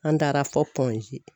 An taara fɔ